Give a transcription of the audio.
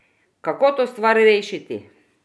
Kako to stvar rešiti?